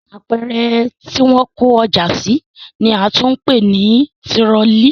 Apẹ̀rẹ̀ tí wọ́n ń kó ọjà sí ni a tún ń pè ní tirọlí